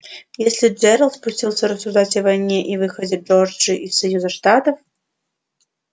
если джералд пустился рассуждать о войне и выходе джорджии из союза штата